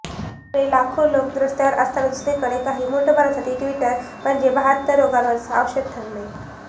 एकीकडे लाखो लोक रस्त्यावर असताना दुसरीकडे काही मूठभरांसाठी ट्विटर म्हणजे बहात्तर रोगांवरचं औषध ठरलंय